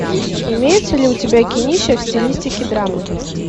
имеется ли у тебя кинище в стилистике драмы